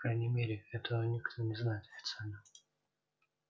по крайней мере этого никто не знает официально